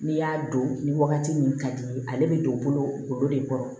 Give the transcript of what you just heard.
N'i y'a don ni wagati min ka di ye ale bɛ don bolo de kɔrɔ